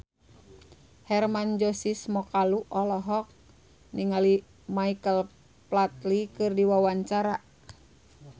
Hermann Josis Mokalu olohok ningali Michael Flatley keur diwawancara